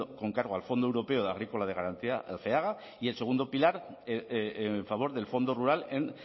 con cargo al fondo europeo agrícola de garantía el feaga y el segundo pilar en favor del fondo rural en